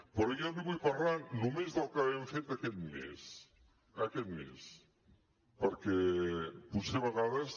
però jo li vull parlar només del que hem fet aquest mes aquest mes perquè potser a vegades